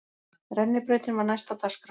Rennibrautin var næst á dagskrá.